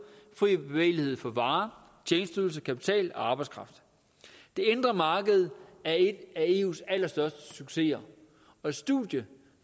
fri bevægelighed for varer tjenesteydelser kapital og arbejdskraft det indre marked er en af eus allerstørste succeser og et studie